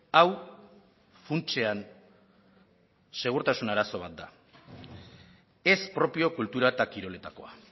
hau funtsean segurtasun arazo bat da ez propio kultura eta kiroletakoa